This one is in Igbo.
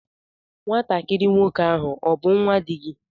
Nwatakịrị nwoke a ọ bú nnwa di gị?